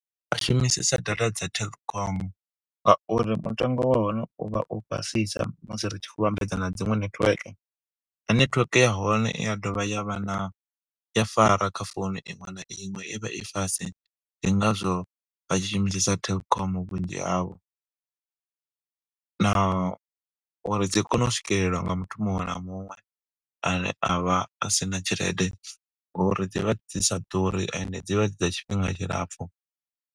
Vha shumisesa data dza telkom, ngauri mutengo wa hone u vha u fhasisa musi ri tshi khou vhambedza na dziṅwe netiweke. Na netiweke ya hone i ya dovha ya vha na, i ya fara kha founu iṅwe na iṅwe. I vha i fast, ndi ngazwo vha tshi shumisesa telkom vhunzhi havho, na uri dzi kone u swikelelwa nga muthu muṅwe na muṅwe ane a vha a sina tshelede, ngo uri dzi vha dzi sa ḓuri ende dzivha dzi dza tshifhinga tshilapfu.